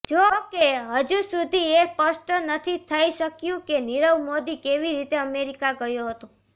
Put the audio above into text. જોકે હજુસુધી એ સ્પષ્ટ નથી થઇ શક્યું કે નીરવ મોદી કેવી રીતે અમેરિકા ગયો હતો